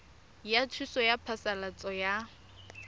ya thuso ya phasalatso ya